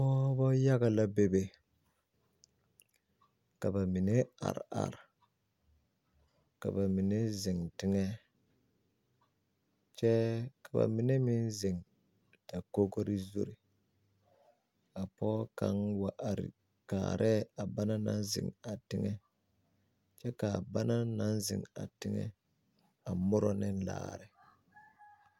Pɔɔbɔ yaga la bebe ka ba mine are are ka ba mine zeŋ teŋɛ kyɛ ka ba mine meŋ zeŋ dakogre zure a pɔɔ kaŋ wa are kaarɛɛ lɛ a ba naŋ zeŋ kyɛ kaa ba naŋ naŋ zeŋ teŋɛ a muro ne laare.